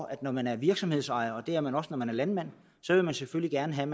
at når man er virksomhedsejer og det er man også når man er landmand så vil man selvfølgelig gerne have